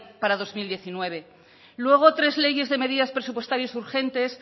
para dos mil diecinueve luego tres leyes de medidas presupuestarias urgentes